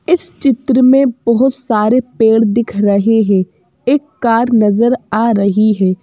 इस चित्र में बहुत सारे पेड़ दिख रहे हैं एक कार नजर आ रही है।